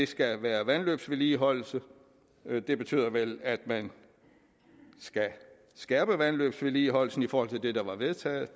skal være vandløbsvedligeholdelse det betyder vel at man skal skærpe vandløbsvedligeholdelsen i forhold til det der var vedtaget